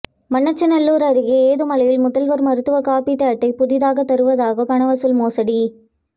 மண்ணச்சநல்லூர் அருகே எதுமலையில் முதல்வர் மருத்துவ காப்பீட்டு அட்டை புதிதாக தருவதாக பண வசூல் மோசடி